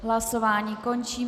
Hlasování končím.